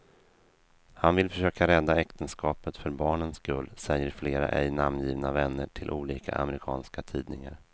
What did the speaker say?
Han vill försöka rädda äktenskapet för barnens skull, säger flera ej namngivna vänner till olika amerikanska tidningar.